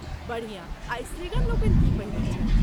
बढ़िया आ स्त्रीगण लोकनि की पहिरैत छथि?